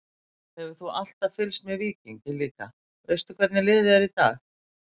Hefur þú alltaf fylgst með Víkingi líka, veistu hvernig liðið er í dag?